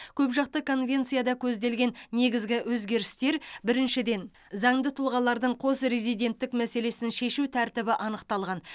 көпжақты конвенцияда көзделген негізгі өзгерістер біріншіден заңды тұлғалардың қос резиденттік мәселесін шешу тәртібі анықталған